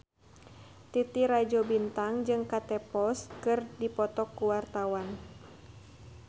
Titi Rajo Bintang jeung Kate Moss keur dipoto ku wartawan